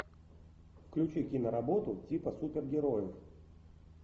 включи киноработу типа супергероев